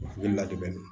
Ne ladege na